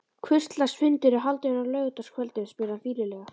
Hvurslags fundur er haldinn á laugardagskvöldum? spurði hann fýlulega.